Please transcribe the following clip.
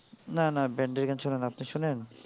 না না band এর গান শুনিনা আপনি শোনেন?